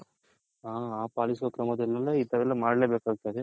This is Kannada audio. ಪಾಲಿಸುವ ಕ್ರಮದಲಲೆಲ್ಲ ಈ ತರ ಮಾಡಲೇ ಬೇಕಾಗುತ್ತದೆ.